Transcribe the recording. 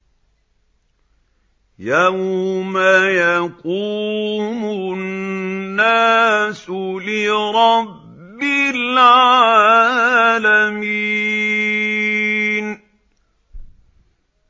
يَوْمَ يَقُومُ النَّاسُ لِرَبِّ الْعَالَمِينَ